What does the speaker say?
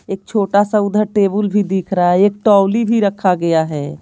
एक छोटा सा उधर टेबल भी दिख रहा है एक टौली भी रखा गया है।